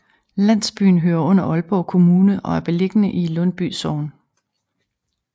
Landsbyen hører under Aalborg Kommune og er beliggende i Lundby Sogn